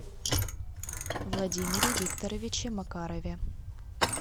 владимире викторовиче макарове